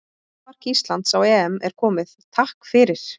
Fyrsta mark Íslands á EM er komið, takk fyrir.